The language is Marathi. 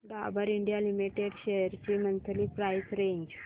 डाबर इंडिया लिमिटेड शेअर्स ची मंथली प्राइस रेंज